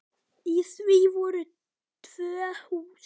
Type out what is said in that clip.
Í því voru tvö hús.